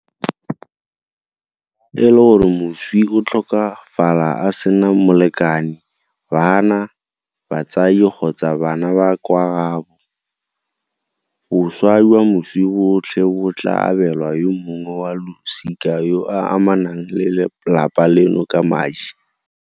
Fa e le gore moswi o tlhokafala a sena molekane, bana, batsadi kgotsa bana ba kwa gaabo, boswa jwa moswi botlhe bo tla abelwa yo mongwe wa losika yo a amanang le lelapa leno ka madi.